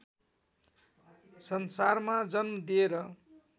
संसारमा जन्म दिएर